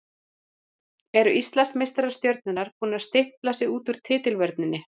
Eru Íslandsmeistarar Stjörnunnar búnir að stimpla sig út úr titilvörninni?